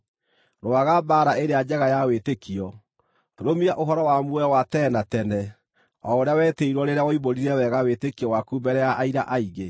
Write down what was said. Rũaga mbaara ĩrĩa njega ya wĩtĩkio. Rũmia ũhoro wa muoyo wa tene na tene o ũrĩa wetĩirwo rĩrĩa woimbũrire wega wĩtĩkio waku mbere ya aira aingĩ.